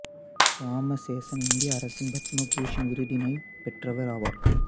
இராமசேசன் இந்திய அரசின் பத்ம பூசண் விருதினையும் பெற்றவர் ஆவார்